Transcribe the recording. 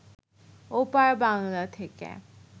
ওপার বাংলা থেকে